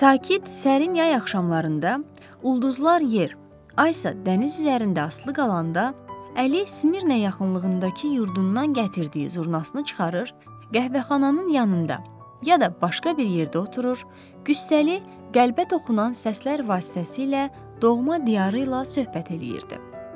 Sakit, sərin yay axşamlarında ulduzlar yer, ay isə dəniz üzərində asılı qalanda, Əli Smirnə yaxınlığındakı yurdundan gətirdiyi zurnasını çıxarır, qəhvəxananın yanında, ya da başqa bir yerdə oturur, qüssəli, qəlbə toxunan səslər vasitəsilə doğma diyarı ilə söhbət eləyirdi.